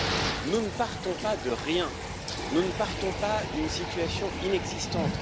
Cependant, nous ne partons pas de rien, nous ne partons pas d'une situation inexistante.